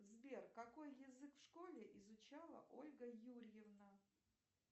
сбер какой язык в школе изучала ольга юрьевна